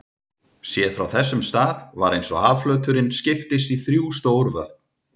Séð frá þessum stað var eins og hafflöturinn skiptist í þrjú stór vötn.